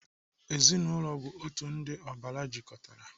Ezinaụlọ bụ otu ndị ọbara jikọtara.